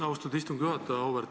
Austatud istungi juhataja!